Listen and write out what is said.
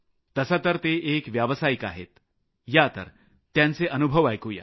तसं तर ते एक व्यावसायिक आहेत या त्यांचे अनुभव ऐकू या